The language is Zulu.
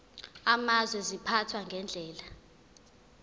amazwe ziphathwa ngendlela